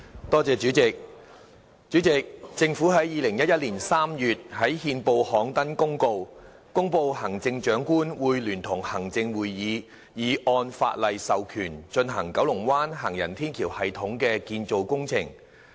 代理主席，政府在2011年3月在憲報刊登公告，公布行政長官會同行政會議已按法例授權進行九龍灣行人天橋系統的建造工程。